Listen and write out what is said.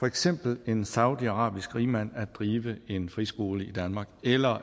eksempelvis en saudiarabisk rigmand at drive en friskole i danmark eller